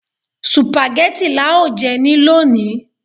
Sùpàgẹ́tì lá ó jẹ ní lọni